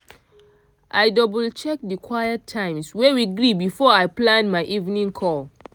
i double-check the quiet times wey we gree before i plan my evening call.